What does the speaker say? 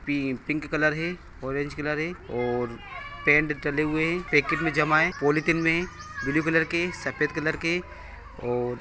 पि-पिंक colour है or- orange colour है और पैंट जले हुए हैं पैकेट में जमा है पॉलिथीन में ब्लू कलर के सफ़ेद कलर के और--